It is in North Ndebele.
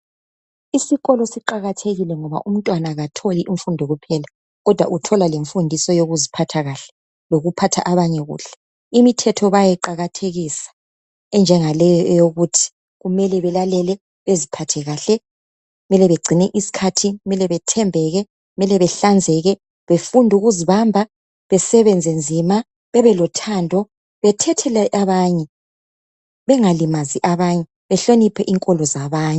Isikolo siqakathekile ngoba umntwana katholi imfundo kuphela kodwa uthola lemfundiso yokuziphatha kahle lokuphatha abanye kuhle. Imithetho bayayiqakathekisa enjengaleyo eyokuthi kumele belalele, beziphathe kahle, kumele begcine isikhathi, kumele bethembeke, kumele behlanzeke, befundukuzibamba, besebenze nzima ,bebelothando, bethethele abanye, bengalimazi abanye, behloniphe inkolo zabanye.